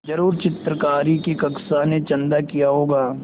ज़रूर चित्रकारी की कक्षा ने चंदा किया होगा